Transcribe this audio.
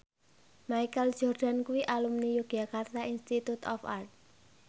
Michael Jordan kuwi alumni Yogyakarta Institute of Art